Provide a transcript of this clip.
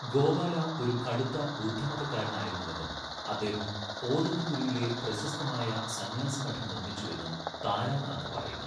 ഗോപാല ഒരു കടുത്ത ബുദ്ധമതക്കാരനായിരുന്നുവെന്നും അദ്ദേഹം ഓദന്തപുരിയിലെ പ്രശസ്തമായ സന്യാസിമഠം നിർമ്മിച്ചുവെന്നും താരാനാഥ പറയുന്നു.